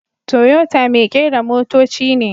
Toyota mai kera motoci ne.